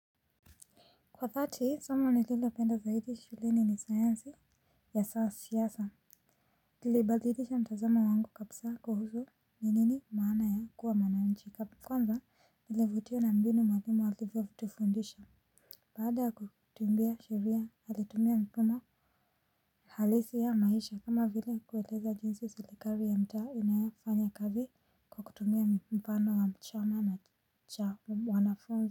Kwa dhati somo nililopenda zaidi shuleni ni sayansi ya siasa. Ilibadilisha mtazamo wangu kabisa kuhusu ni nini maana ya kuwa mwananchi. Kwanza nilivutiwa na mbinu mwalimu alivyotufundisha. Baada ya kutuambia sheria, alitumia mifano halisi ya maisha kama vile kueleza jinsi serikali ya mtaa inafanya kazi kwa kutumia mfano wa chama cha wanafunzi.